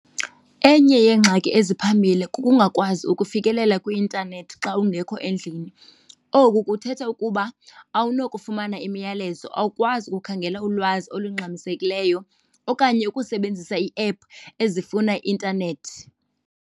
Enye yeengxaki eziphambili kukungakwazi ukufikelela kwi-intanethi xa ungekho endlini. Oku kuthetha ukuba awunokufumana imiyalezo, awukwazi ukukhangela ulwazi olungxamisekileyo okanye ukusebenzisa iephu ezifuna i-intanethi.